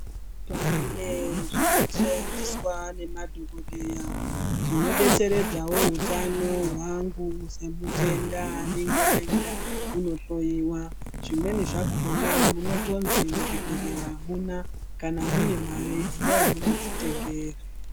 Pane zvino shandiswa ne madhokodheya zvino detseredzawo hutano hwangu se mutenda anenge ayenda kuno hloyiwa zvimweni zvakona munotonzi mu chibhedhlera amuna kana mune mare endayi munodzi tengera.